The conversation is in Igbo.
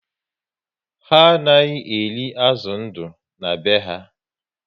Ha anaghị eri azụ ndụ na be ha